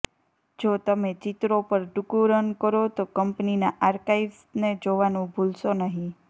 જો તમે ચિત્રો પર ટૂંકું રન કરો તો કંપનીના આર્કાઇવ્સને જોવાનું ભૂલશો નહીં